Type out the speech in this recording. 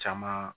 Caman